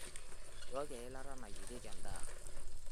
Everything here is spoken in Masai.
Nchooki eilata nayierie endaa.